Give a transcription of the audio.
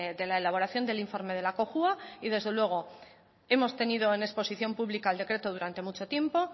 de la elaboración del informe de la cojua y desde luego hemos tenido en exposición pública el decreto durante mucho tiempo